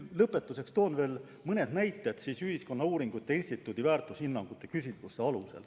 Lõpetuseks toon veel mõne näite Ühiskonnauuringute Instituudi väärtushinnangute küsitlustest.